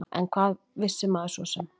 En hvað vissi maður svo sem?